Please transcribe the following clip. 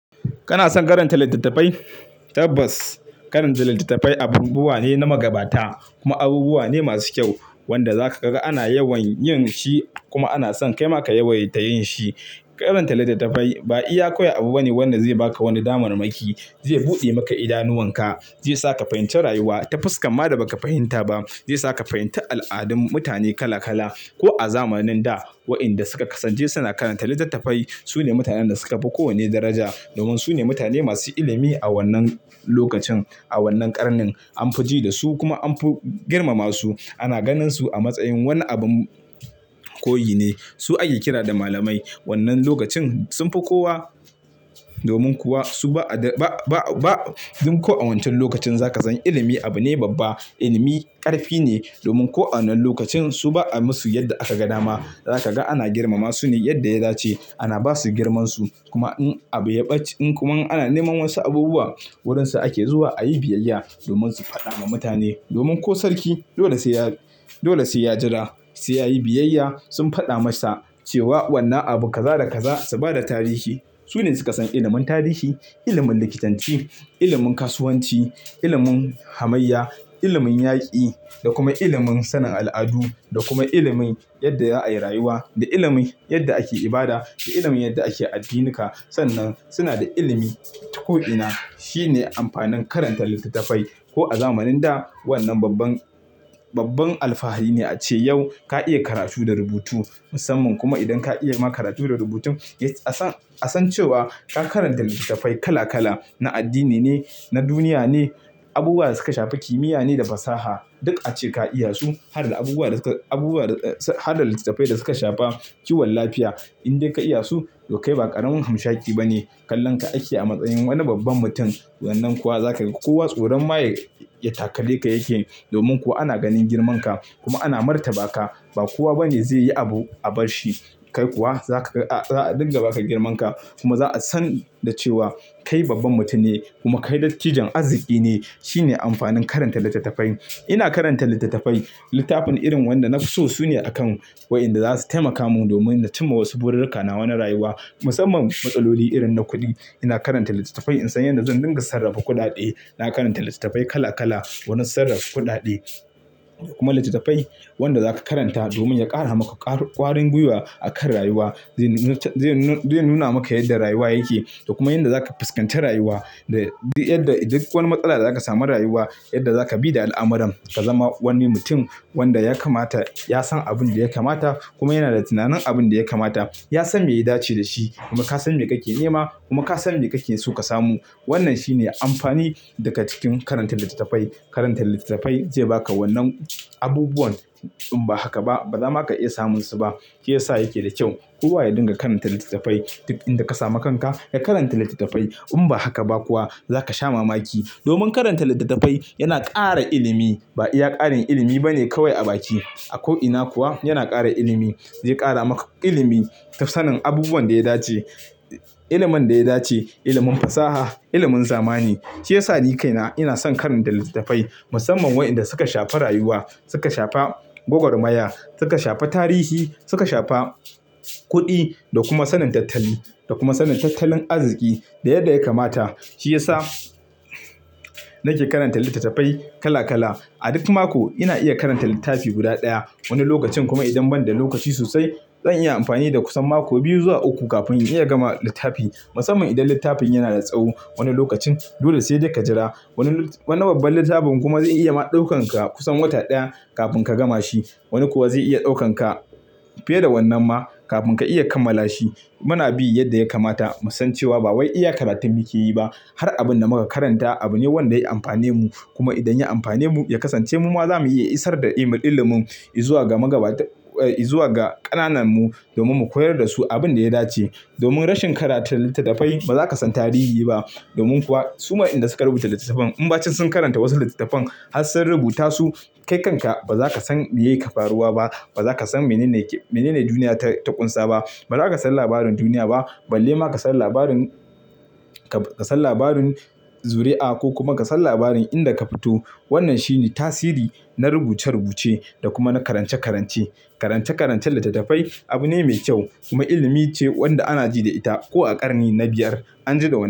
Kana son karanta littattafai? Tabbas karanta littattafai abubuwa ne na magabata kuma abubuwa ne masu kyau wanda zaka ga ana yawan yin shi kuma ana son kai ma ka yawaita yin shi. Karanta littattafai ba iya kawai abu bane wanda zai baka wani damar maki, zai buɗe maka idanuwanka, zai saka fahimce rayuwa ta fuskar ma da baka fahimta ba, zai saka fahimtar al'adun mutane kala kala. Ko a zamanin da wayanda suka kasance suna karanta littattafai sune mutanen da suka fi kowanne daraja domin sune mutane masu ilimi a wannan lokacin, a wannan ƙarnin an fiji da su kuma an fi girmama su. Ana ganin su a matsayin wani abun koyi ne. Su ake kira da malamai. Wannan lokacin sun fi kowa domin kuwa su ba a ba, ba, ba duk ko a wancan lokacin za ka san ilimi abu ne babba. Ilimi ƙarfi ne domin ko a wanna lokacin su ba a yi musu yadda aka gan dama. Za ka ga ana girmama su ne yadda ya dace. Ana ba su girmansu kuma in abu ya ɓace in kuma ana neman wasu abubuwa wurinsa ake zuwa ayi biyayya domin su faɗa ma mutane. Domin ko sarki dole sai ya, dole sai ya jira sai yayi biyayya sun faɗa masa cewa wannan abu kaza da kaza su ba da tarihi. Sune suka san ilimin tarihi, ilimin likitanci, ilimin kasuwanci, ilimin hamayya, ilimin yaƙi da kuma ilimin sanin al'adu da kuma ilimin yadda za a yi rayuwa da ilimin yadda ake ibada da ilimin yadda ake addinika. Sannan suna da ilimi duk ko ina. Shi ne amfanin karanta littattafai. Ko a zamanin da wannan babban, babban alfahari ne a ce yau ka iya karatu da rubutu musamman kuma idan ka iya ma karatu da rubutun a san, a san cewa ka karanta littattafai kala kala. Na addini ne, na duniya ne, abubuwa da suka shafi kimiyya ne da fasaha duk a ce ka iya su. Har da abubuwa da suka, abubuwa da har da littattafai da suka shafa kiwon lafiya. Indai ka iya su toh kai ba ƙaramin hamshaki ba ne. Kallon ka ake a matsayin wani babban mutum. Wannan kuwa za ka ga kowa tsoron ma ya takalle ka yake. Domin kuwa ana ganin girmanka kuma ana martaba ka. Ba kowa bane zai yi abu a barshi. Kai kuwa za ka ga za a dinga baka girmanka kuma za a san da cewa kai babban mutum ne kuma kai dattijan arziki ne. Shi ne amfanin karanta littattafai. Ina karanta littattafai. Littafin irin wanda nafi so sune a kan wayanda za su taimaka mun domin na cimma wasu bururruka nawa na rayuwa musamman matsaloli irin na kuɗi. Ina karanta littattafai in san yanda zan dinga sarrafa kuɗaɗe. Na karanta littattafai kala kala wani sarrafa kuɗaɗe kuma littattafai wanda za ka karanta domin ya ƙara maka ƙwarin gwiwa akan rayuwa. Zai nuna maka yadda rayuwa yake da kuma yanda za ka fuskantar rayuwa da duk yadda duk wani matsala da za ka samu rayuwa yadda za ka bi da al'amuran ka zama wani mutum wanda ya kamata. Ya san abin da ya kamata kuma yana da tunanin abin da ya kamata. Ya san me ya dace da shi kuma ka san me kake nema kuma ka san me kake so ka samu. Wannan shine amfani daga cikin karanta littattafai. Karanta littattafai zai baka wannan abubuwan in ba haka ba ba zama ka iya samun su ba. Shi yasa yake da kyau kowa ya dinga karanta littattafai. Duk inda ka samu kanka ka karanta littattafai. In ba haka ba kuwa za ka sha mamaki. Domin karanta littattafai yana ƙara ilimi. Ba iya ƙarin ilimi bane kawai a baki. A ko'ina kuwa yana ƙara ilimi. Zai ƙara maka ilimi ta sanin abubuwan da ya dace. Ilimin da ya dace, ilimin fasaha, ilimin zamani. Shi yasa ni kaina ina son karanta littattafai musamman wayanda suka shafi rayuwa, suka shafi gwagwarmaya, suka shafi tarihi, suka shafi kuɗi da kuma sanin tattali da kuma sanin tattalin arziki da yadda ya kamata. Shi yasa nake karanta littattafai kala kala. A duk mako ina iya karanta littafi guda ɗaya. Wani lokacin kuma idan ban da lokaci sosai zan iya amfani da kusan mako biyu zuwa uku kafin in iya gama littafi musamman idan littafin yana da tsawo. Wani lokacin dole sai dai ka jira. Wani wani babban littafin kuma zai iya ma ɗaukanka kusan wata ɗaya kafin ka gama shi. Wani kuwa zai iya ɗaukanka fiye da wannan ma kafin ka iya kammala shi. Muna bi yadda ya kamata musan cewa ba wai iya karatu muke yi ba. Har abin da muka karanta abu ne wanda ya amfane mu. Kuma idan ya amfane mu ya kasance mu ma za mu iya isar da ilimin mu zuwa ga magabata, eh zuwa ga ƙananan mu domin mu koyar da su abin da ya dace. Domin rashin karanta littattafai ba za ka san tarihi ba. Domin kuwa su ma inda suka rubuta littattafan in ba ci sun karanta wasu littattafan har sun rubuta su, kai kanka ba za ka san me yake faruwa ba. Ba za ka san menene, menene duniya ta ƙunsa ba. Ba za ka san labarin duniya ba balle ma ka san labarin, ka san labarin zuri'a ko kuma ka san labarin inda ka fito. Wannan shi ne tasiri na rubuce rubuce da kuma na karance karance. Karance karancen littattafai abu ne mai kyau kuma ilimi ce wanda ana ji da ita ko a ƙarni na biyar an ji da wa.